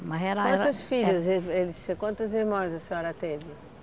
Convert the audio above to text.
Ela era era... Quantos filhos ele ele, quantos irmãos a senhora teve?